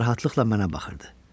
O narahatlıqla mənə baxırdı.